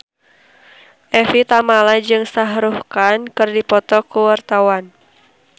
Evie Tamala jeung Shah Rukh Khan keur dipoto ku wartawan